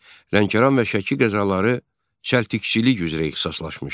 Lənkəran və Şəki qəzaları çəltikçilik üzrə ixtisaslaşmışdı.